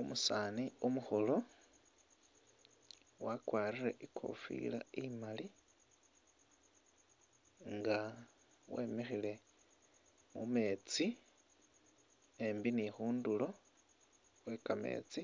Umusaani umukhulu wakwarire i'kofila imali nga wemikhile mu meetsi embi ni khundulo khwe kameetsi